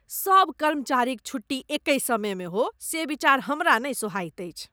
सभ कर्मचारीक छुट्टी एकहि समयमे हो, से विचार हमरा नहि सोहाइत अछि।